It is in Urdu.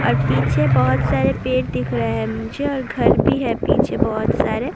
اور پیچھے بہت سارے پیڑ دکھ رہے ہیں مجھے اور گھر بھی ہیں پیچھے بہت سارے